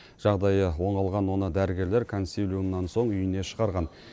жағдайы оңалған оны дәрігерлер консилиумнан соң үйіне шығарған